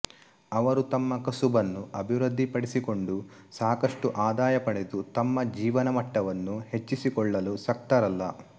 ಅವರು ತಮ್ಮ ಕಸುಬನ್ನು ಅಭಿವೃದ್ಧಿಪಡಿಸಿಕೊಂಡು ಸಾಕಷ್ಟು ಆದಾಯ ಪಡೆದು ತಮ್ಮ ಜೀವನಮಟ್ಟವನ್ನು ಹೆಚ್ಚಿಸಿಕೊಳ್ಳಲು ಶಕ್ತರಲ್ಲ